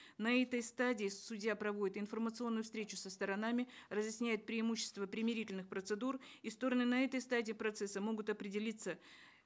на этой стадии судья проводит информационную встречу со сторонами разъясняет преимущества примирительных процедур и стороны на этой стадии процесса могут определиться